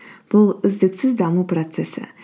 бұл үздіксіз даму процессі